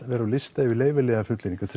vera á lista yfir leyfilegar fullyrðingar